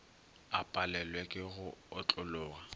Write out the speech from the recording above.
a palelwe ke go otlologa